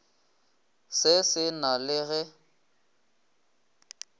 se se na le ge